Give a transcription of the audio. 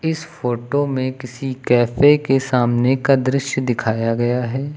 इस फोटो में किसी कैफे के सामने का दृश्य दिखाया गया है।